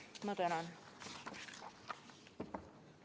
Ma tänan!